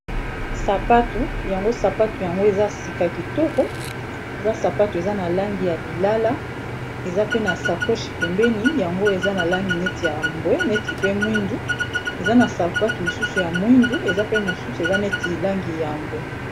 Sapatu yango sapatu yango eza sika kitoko eza sapatu eza na langi ya lilala eza pe na sakoshi pembeni yango eza na langi neti yambwe neti pe mwindu eza na sapatu mosusu ya mwindu eza pe mosusu eza neti langi ya mbwe